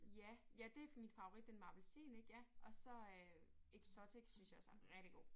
Ja ja det min favorit den med appelsin ik ja og så øh Exotic synes jeg også er rigtig god